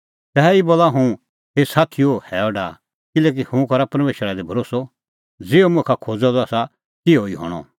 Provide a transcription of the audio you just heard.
तैही बोला हुंह हे साथीओ हैअ डाहा किल्हैकि हुंह करा परमेशरा दी भरोस्सअ कि ज़िहअ मुखा खोज़अ द आसा तिहअ ई हणअ